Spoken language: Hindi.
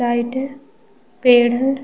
लाइट है पेड़ है ।